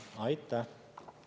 Aitäh!